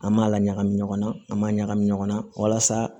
An m'a laɲa ɲɔgɔn na an b'a ɲagami ɲɔgɔn na walasa